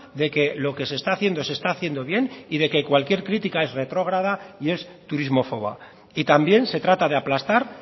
de que lo que se está haciendo se está haciendo bien y de que cualquier crítica es retrógrada y es turismofoba y también se trata de aplastar